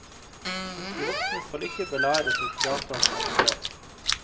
De voksne skal ikke belæres og fratas ansvar.